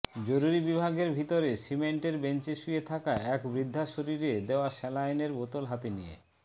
জরুরি বিভাগের ভিতরে সিমেন্টের বেঞ্চে শুয়ে থাকা এক বৃদ্ধার শরীরে দেওয়া স্যালাইনের বোতল হাতে নিয়ে